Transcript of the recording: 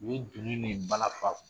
U ye dunun nin balafa